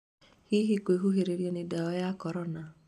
Hihi, kwĩhũhĩrĩria nĩ ndawa ya Korona